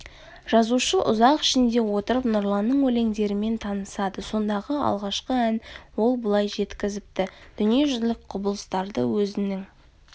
жазушы ұшақ ішінде отырып нұрланның өлеңдерімен танысады сондағы алғашқы ән ол былай жеткізіпті дүниежүзілік құбылыстарды өзінің